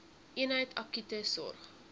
eenheid akute sorg